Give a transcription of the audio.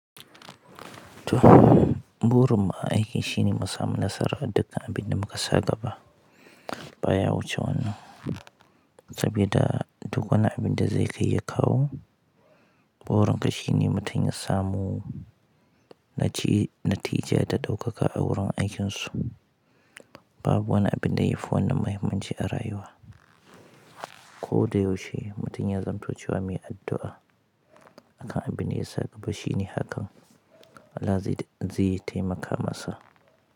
To, burin mu a aiki shine mu samu nasarar da dukkan abinda muka sa gaba baya wuce wannan. Sabida duk wani abinda zai kai ya kawo, burin ka shine mutum ya samu naci-natija da ɗaukaka a wurin aikinsu. Babu wani abinda yafi wannan muhimmanci a rayuwa. Ko da yaushe mutum ya zamanto cewa mai addu'a akan abinda ya same ka, shine hakan Allah zai-zai taimaka masa.